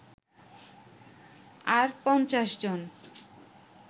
আর ৫০ জন